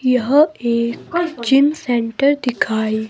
यह एक gym centre दिखाई--